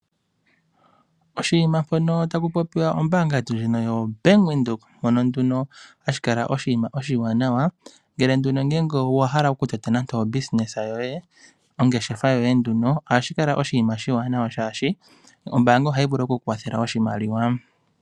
Oshinima mpono tapu popiwa ombaanga yetu ndjono yobank Windhoek mono nduno hashi kala oshinima oshiwanawa ngele nduno owa hala okutota ongeshefa yoye molwaashono ombaanga ohayi vulu oku kukwathele oshimaliwa.